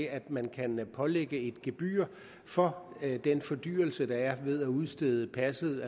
at man kan pålægge et gebyr for den fordyrelse der er ved at udstede passet